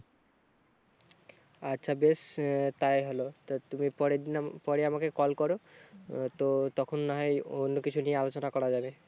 আচ্ছা বেশ তাই হলো তো তুমি পরের দিন পরে আমাকে call করো তো তখন না হয় অন্য কিছু নিয়ে আলোচনা করা যাবে